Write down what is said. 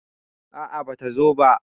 a a ba ta zo ba